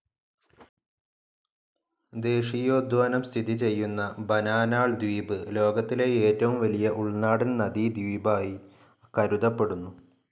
ദേശീയോദ്യാനം സ്ഥിതിചെയ്യുന്ന ബാനാനാൾ ദവീപ്, ലോകത്തിലെ ഏറ്റവും വലിയ ഉൾനാടൻ നദീ ദവീപ് ആയി കരുതപ്പെടുന്നു.